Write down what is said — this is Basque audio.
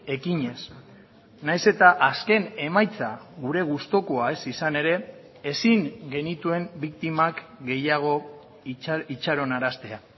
ekinez nahiz eta azken emaitza gure gustukoa ez izan ere ezin genituen biktimak gehiago itxaronaraztea